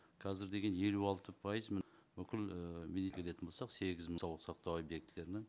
қазір деген елу алты пайыз міне бүкіл келетін болсақ сегіз мың объектілерінің